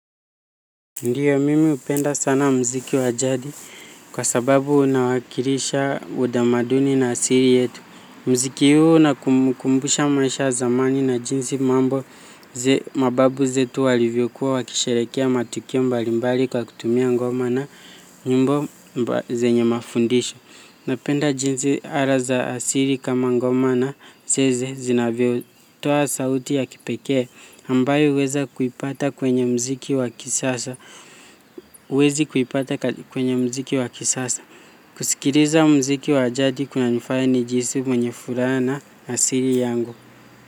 Ndio, mimi hupenda sana muziki wa jadi kwa sababu unawakilisha utamaduni na asili yetu. Muziki huu unakumbusha maisha ya zamani na jinsi mambo za mababu zetu walivyokuwa wakisherehekea matukio mbalimbali kwa kutumia ngoma na nyimbo zenye mafundisho. Napenda jinsi ala za asili kama ngoma na zeze zinavyotoa sauti ya kipekee ambayo huwezi kuipata kwenye muziki wa kisasa. Kusikiliza muziki wa jadi kunaifanya nijihisi mwenye furaha na asili yangu.